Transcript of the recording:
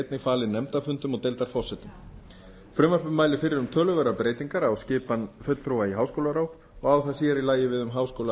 einnig falin deildarfundum og deildarforsetum frumvarpið mælir fyrir um töluverðar breytingar á skipan fulltrúa í háskólaráð og á það sér í lagi við